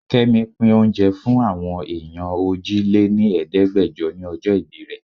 Kẹ́mi pín oúnjẹ fún àwọn èèyàn òjì-lé-ní-Ẹ̀ẹ́dẹgbejo ni ọjọ́ ìbí rẹ.